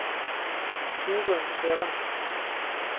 Torunn Sørensen